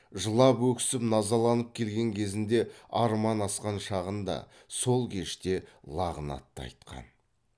жылап өксіп назаланып келген кезінде арман асқан шағында сол кеште лағнат та айтқан